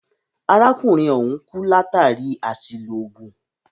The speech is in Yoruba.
Arákùnrin ọ̀hùn kú látàri àṣìlò oògùn.